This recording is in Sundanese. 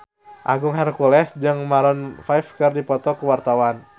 Agung Hercules jeung Maroon 5 keur dipoto ku wartawan